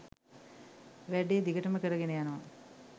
වැඩේ දිගටම කරගෙන යනවා